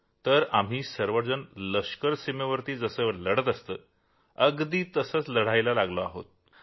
तर आम्ही सर्वजण लष्कर सीमेवर कसं लढतं तसंच आम्ही इथे लढा देत आहोत